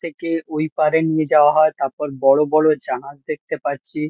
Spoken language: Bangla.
থেকে ওই পাড়ে নিয়ে যাওয়া হয়। তারপর বড়ো বড়ো জাহাজ দেখতে পাচ্ছি।